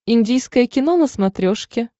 индийское кино на смотрешке